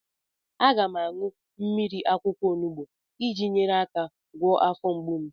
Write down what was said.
Aga m aṅụ mmiri akwụkwọ onubu iji nyere aka gwọọ afọ mgbu m.